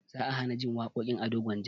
Za a hanajin waƙoƙin ado gwanja